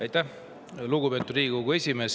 Aitäh, lugupeetud Riigikogu esimees!